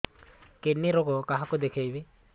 kidney ରୋଗ କାହାକୁ ଦେଖେଇବି